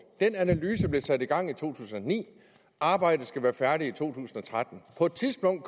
den analyse blev sat i gang i to tusind og ni arbejdet skal være færdigt i to tusind og tretten på et tidspunkt